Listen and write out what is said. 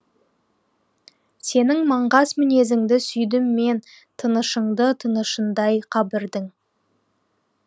сенің маңғаз мінезіңді сүйдім мен тынышыңды тынышындай қабірдің